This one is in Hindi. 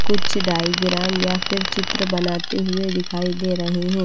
कुछ डायग्राम या फिर चित्र बनाते हुए दिखाई दे रहे हैं।